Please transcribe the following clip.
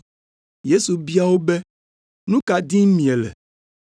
Yesu bia wo be, “Nu ka dim miele?”